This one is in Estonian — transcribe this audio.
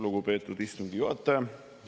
Lugupeetud istungi juhataja!